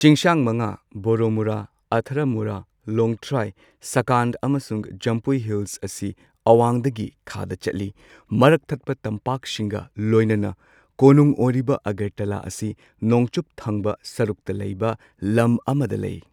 ꯆꯤꯡꯁꯥꯡ ꯃꯉꯥ ꯕꯣꯔꯣꯃꯨꯔꯥ, ꯑꯊꯔꯥꯃꯨꯔꯥ, ꯂꯣꯡꯊꯔꯥꯏ, ꯁꯈꯥꯟ ꯑꯃꯁꯨꯡ ꯖꯝꯄꯨꯏ ꯍꯤꯜꯁ ꯑꯁꯤ ꯑꯋꯥꯡꯗꯒꯤ ꯈꯥꯗ ꯆꯠꯂꯤ꯫ ꯃꯔꯛꯊꯠꯄ ꯇꯝꯄꯥꯛꯁꯤꯡꯒ ꯂꯣꯏꯅꯅ ꯀꯣꯅꯨꯡ ꯑꯣꯏꯔꯤꯕ ꯑꯒꯔꯇꯂꯥ ꯑꯁꯤ ꯅꯣꯡꯆꯨꯞ ꯊꯪꯕ ꯁꯔꯨꯛꯇ ꯂꯩꯕ ꯂꯝ ꯑꯃꯗ ꯂꯩ꯫